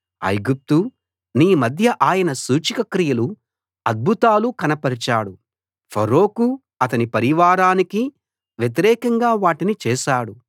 ఐగుప్తూ నీ మధ్య ఆయన సూచకక్రియలు అద్భుతాలు కనపరచాడు ఫరోకు అతని పరివారానికీ వ్యతిరేకంగా వాటిని చేశాడు